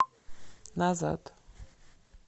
назад